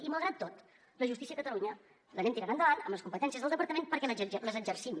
i malgrat tot la justícia a catalunya l’anem tirant endavant amb les competències del departament perquè les exercim